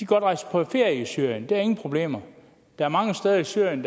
kan rejse på ferie til syrien der er ingen problemer der er mange steder i syrien